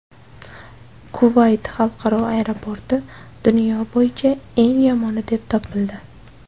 Kuvayt xalqaro aeroporti dunyo bo‘yicha eng yomoni deb topildi.